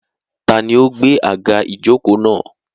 Tani ó gba àga ìjókòó náà?